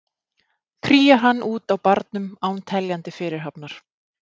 Kríar hann út á barnum án teljandi fyrirhafnar.